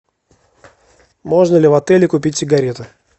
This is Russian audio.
можно ли в отеле купить сигареты